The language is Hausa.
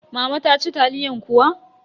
Mama ta ci taliyan kuwa?